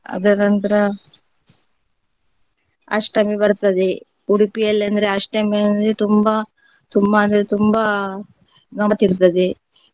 ಅದ್ರ ನಂತರ ಅಷ್ಟಮಿ ಬರ್ತದೆ ಉಡುಪಿಯಲ್ಲಿ ಅಂದ್ರೆ ಅಷ್ಟಮಿ ಅಂದ್ರೆ ತುಂಬಾ ತುಂಬಾ ಅಂದ್ರೆ ತುಂಬಾ ಗಮ್ಮತಿರ್ತದೆ.